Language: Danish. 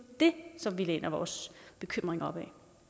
det som vi læner vores bekymring op